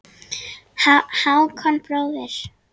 Hákon bróðir.